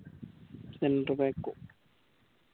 centre back oh